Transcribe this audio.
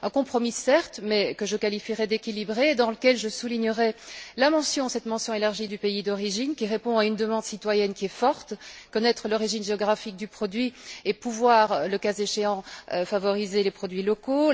Un compromis certes, mais que je qualifierais d'équilibré et dans lequel je soulignerais la mention, cette mention élargie du pays d'origine qui répond à une demande citoyenne qui est forte connaître l'origine géographique du produit, et pouvoir, le cas échéant, favoriser les produits locaux.